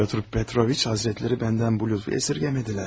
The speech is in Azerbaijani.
Pyotr Petroviç həzrətləri bəndən bu lütfü əsirgəmədilər.